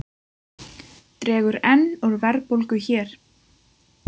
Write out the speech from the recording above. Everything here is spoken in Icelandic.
Dregur enn úr verðbólgu hér